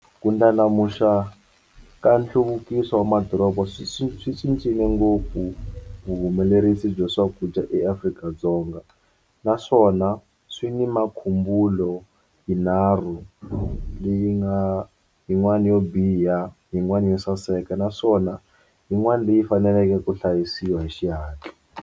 Ku ndlandlamuxiwa ka nhluvukiso wa madoroba swi swi swi cincile ngopfu vuhumelerisi bya swakudya eAfrika dzonga naswona swi ni makhumbulo yinharhu leyi nga yin'wani yo biha yin'wana yo saseka naswona yin'wana leyi faneleke ku hlayisiwa hi xihatla.